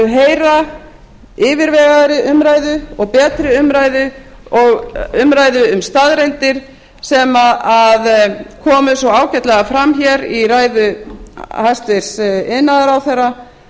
heyra yfirvegaðri umræðu og betri umræðu og umræðu um staðreyndir sem komu svo ágætlega fram hér í ræðu hæstvirts iðnaðarráðherra